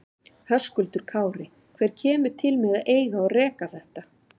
Höskuldur Kári: Hver kemur til með að eiga og reka þetta?